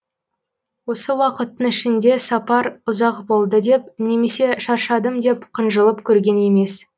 осы уақыттың ішінде сапар ұзақ болды деп немесе шаршадым деп қынжылып көрген емес